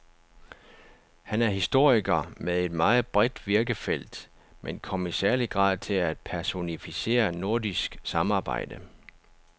Han er historiker med et meget bredt virkefelt, men kom i særlig grad til at personificere nordisk samarbejde.